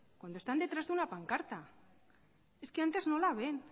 cuando están detrás de una pancarta es que antes no la ven